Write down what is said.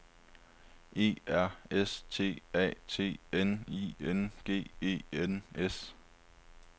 E R S T A T N I N G E N S